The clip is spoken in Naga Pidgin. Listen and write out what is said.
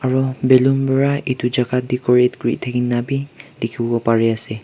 aru ballon para etu jagah decorat kori thaki na bhi dekhi bo Pari ase.